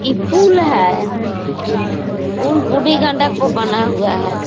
इ पुल है पुल बूढ़ी गंडक पर बना हुआ है।